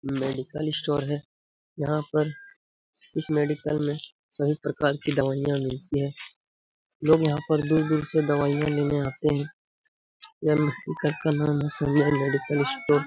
Medical store है। यहाँ पर इस मेडिकल में सभी प्रकार की दवाईयाँ मिलती है लोग यहाँ पर दूर-दूर से दवाईयाँ लेने आते है। मेडिकल का नाम है सलमान मेडिकल स्टोर --